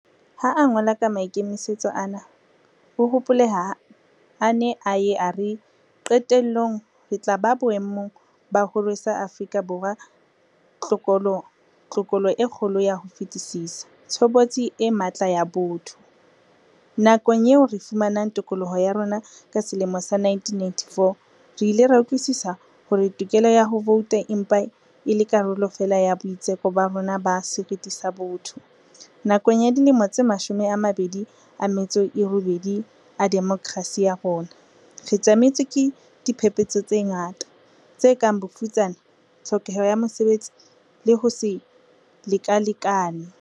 Ha a ngola ka maikemisetso ana, o hopoleha a ne a ye a re, "Qetellong re tla ba boemong ba ho rwesa Afrika Borwa tlokola e kgolo ka ho fetisisa - tshobotsi e matla ya botho." Nakong eo re fumanang tokoloho ya rona ka selemo sa 1994, re ile ra utlwisisa hore tokelo ya ho vouta e mpa e le karolo feela ya boitseko ba rona ba seriti sa botho. Nakong ya dilemo tse mashome a mabedi a metso e robedi a demokrasi ya rona, re tjametswe ke diphephetso tse ngata, tse kang bofutsana, tlhokeho ya mesebetsi le ho se lekalekane.